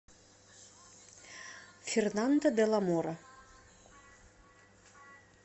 фернандо де ла мора